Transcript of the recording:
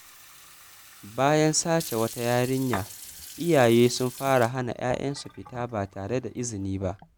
Bayan sace wata yarinya, iyaye sun fara hana ‘ya’yansu fita ba tare da izini ba.